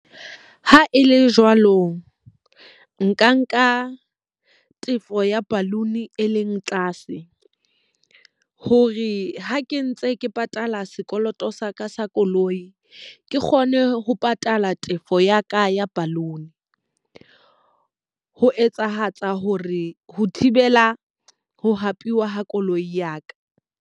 Ha e le jwalo, nka nka tefo ya balloon e leng tlase. Hore ha ke ntse ke patala sekoloto sa ka sa ya koloi, ke kgone ho patala tefo ya ka ya balloon. Ho etsahatsa hore ho thibela ho hapewa ha koloi ya ka.